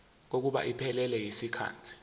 kokuba iphelele yisikhathi